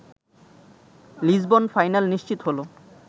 Lisbon final নিশ্চিত হলো